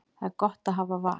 Það er gott að hafa val.